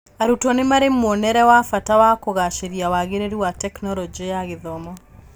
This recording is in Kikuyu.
Arutwo nĩmarĩ mwonere wa bata wa kũgacĩria wagĩrĩru wa Tekinoronjĩ ya Gĩthomo.